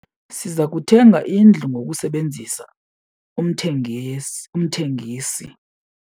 Siza kuthenga indlu ngokusebenzisa umthengisi.